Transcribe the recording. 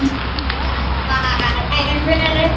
Það var erfitt.